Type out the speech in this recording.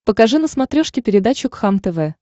покажи на смотрешке передачу кхлм тв